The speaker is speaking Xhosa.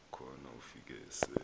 khona ufike se